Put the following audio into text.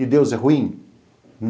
E Deus é ruim?